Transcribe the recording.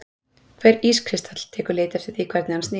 Hver ískristall tekur lit eftir því hvernig hann snýr.